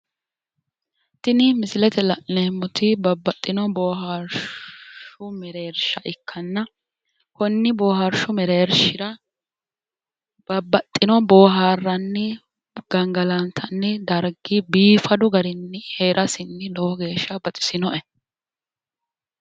tini misilete la'neemmoti babbaxino boohaarshu mereersha ikkanna konni booharshu mereershira babbaxino boohaarranni gangalantanni dargi biifadu garinni heerasinni lowo geeshsha baxisinoe.